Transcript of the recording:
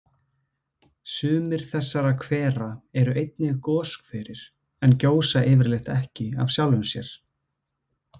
Sumir þessara hvera eru einnig goshverir en gjósa yfirleitt ekki af sjálfum sér.